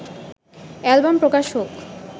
album প্রকাশ হোক